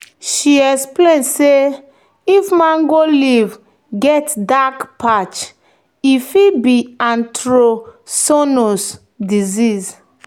"she explain say if mango leaf get dark patch e fit be anthracnose disease."